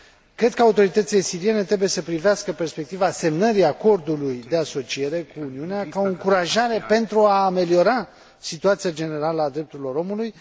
Cred că autoritățile siriene trebuie să privească perspectiva semnării acordului de asociere cu Uniunea ca o încurajare pentru a ameliora situația generală a drepturilor omului.